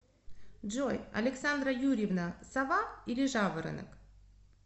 джой александра юрьевна сова или жаворонок